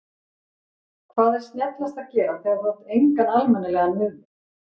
Hvað er snjallast að gera þegar þú átt engan almennilegan miðvörð?